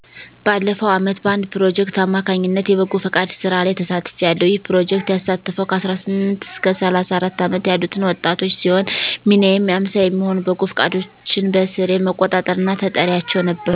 ባለፈው ዓመት በአንድ ፕሮጀክት አማካኝነት የበጎ ፍቃድ ስራ ላይ ተሳትፊያለሁ ይህ ፕሮጀክት ያሳተፈው 18-34 ዓመት ያሉትን ወጣቶች ሲሆን ሚናየም 50 የሚሆኑ በጎ ፍቃደኞችን በስሬ መቆጣጠር እና ተጠሪያቸው ነበርኩ።